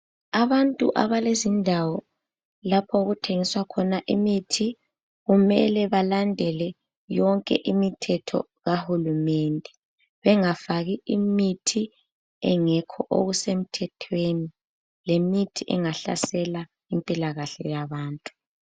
Abantu abalezindawo lapho okuthengiswa khona imithi, kumele balandele yonke imithetho kahulumende bengafaki imithi engekho okusemthethweni lemithi engahlasela impilakahle yabantu.